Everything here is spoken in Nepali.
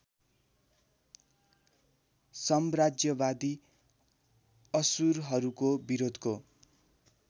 साम्राज्यवादी असुरहरूको विरोधको